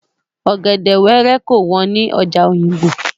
Ọ̀gẹ̀dè wẹ́rẹ́ kò wọ́n ní ọjà Òyìngbò.